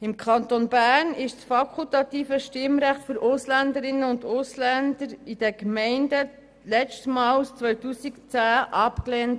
Im Kanton Bern wurde das fakultative Stimmrecht für Ausländerinnen und Ausländer in den Gemeinden letztmals im Jahr 2010 abgelehnt.